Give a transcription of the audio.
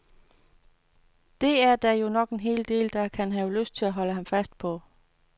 Det er der jo nok en del, der kan have lyst til at holde ham fast på.